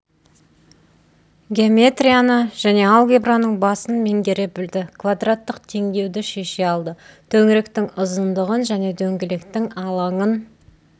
геометрияны және алгебраның басын меңгере білді квадраттық теңдеуді шеше алды төңіректің ұзындығын және дөңгелектің алаңын